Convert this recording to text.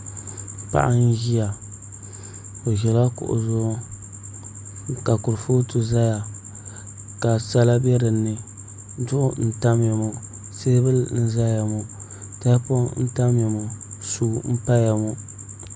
Paɣa n ʒiya o ʒila kuɣu zuɣu ka kurifooti ʒɛya ka sala bɛ dinni duɣu n tamya ŋo teebuli n ʒɛya ŋo tahapoŋ n tamya ŋo suu n paya ŋo